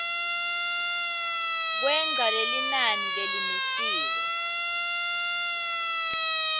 kwengca lelinani lelimisiwe